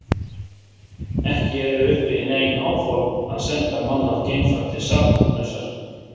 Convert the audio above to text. Ekki eru uppi nein áform að senda mannað geimfar til Satúrnusar.